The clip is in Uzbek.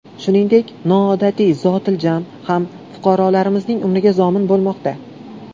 Shuningdek, noodatiy zotiljam ham fuqarolarimizning umriga zomin bo‘lmoqda.